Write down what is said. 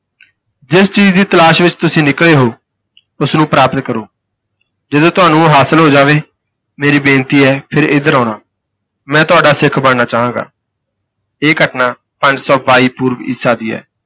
ਜਿਸ ਚੀਜ਼ ਦੀ ਤਲਾਸ਼ ਵਿੱਚ ਤੁਸੀਂ ਨਿਕਲੇ ਹੋ ਉਸਨੂੰ ਪ੍ਰਾਪਤ ਕਰੋ। ਜਦੋਂ ਤੁਹਾਨੂੰ ਹਾਸਿਲ ਹੋ ਜਾਵੇ ਮੇਰੀ ਬੇਨਤੀ ਹੈ ਫਿਰ ਇੱਧਰ ਆਉਣਾ। ਮੈਂ ਤੁਹਾਡਾ ਸਿੱਖ ਬਣਨਾ ਚਾਹਾਂਗਾ। ਇਹ ਘਟਨਾ ਪੰਜ ਸੌ ਬਾਈ ਪੂਰਵ ਈਸਾ ਦੀ ਹੈ।